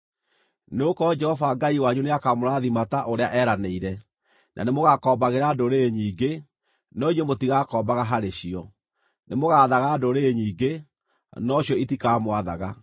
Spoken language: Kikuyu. Nĩgũkorwo Jehova Ngai wanyu nĩakamũrathima ta ũrĩa eeranĩire, na nĩmũgakombagĩra ndũrĩrĩ nyingĩ, no inyuĩ mũtigaakombaga harĩ cio. Nĩmũgaathaga ndũrĩrĩ nyingĩ, no cio itikamwathaga.